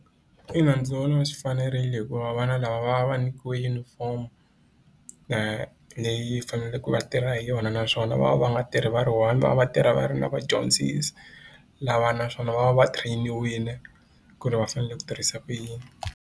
Ina ndzi vona swi fanerile hikuva vana lava va va nyikiwe yunifomo leyi faneleke va tirha hi yona naswona va va va nga tirhi va ri one va va va tirha va ri na vadyondzisi lava naswona va va va train-iwile ku ri va fanele ku tirhisa kuyini.